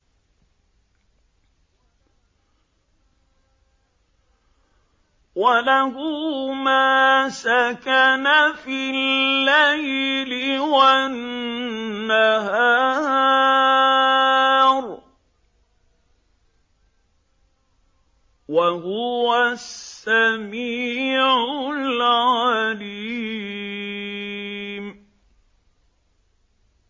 ۞ وَلَهُ مَا سَكَنَ فِي اللَّيْلِ وَالنَّهَارِ ۚ وَهُوَ السَّمِيعُ الْعَلِيمُ